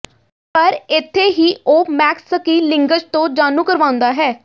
ਪਰ ਇੱਥੇ ਹੀ ਉਹ ਮੈਕਸ ਸਕਿਲਿੰਗਜ਼ ਤੋਂ ਜਾਣੂ ਕਰਵਾਉਂਦਾ ਹੈ